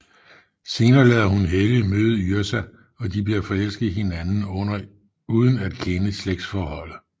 Senere lader hun Helge møde Yrsa og de bliver forelsket i hinanden uden at kende slægtforholdet